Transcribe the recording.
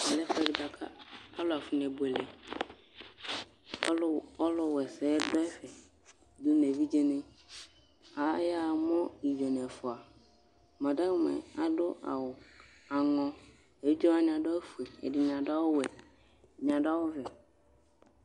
Ɛvɛ lɛ ɛfʋɛdɩ bʋa kʋ alʋ afɔnebuele Ɔlʋ w ɔlʋwaɛsɛ yɛ dʋ ɛfɛ dʋ nʋ evidzenɩ Aya mʋ idzo nʋ ɛfʋa Madamʋ yɛ adʋ awʋ aŋɔ, evidze wanɩ adʋ awʋfue, ɛdɩnɩ adʋ awʋwɛ, ɛdɩnɩ adʋ awʋvɛ